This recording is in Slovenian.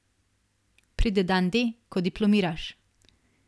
Pride dan D, ko diplomiraš.